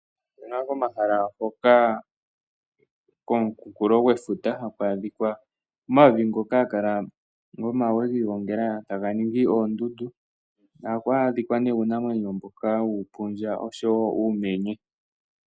Opuna komahala galwe ngoka gokooha dhefuta haku kala omavi ngoka gomawe giigongela e taga ningi oondundu. Ohamu adhika ne uunamwenyo mboka wuupundja nosho wo uumenye.